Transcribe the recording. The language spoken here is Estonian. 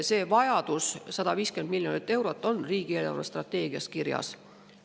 Selleks vajaminevad 150 miljonit eurot on riigi eelarvestrateegias kirjas.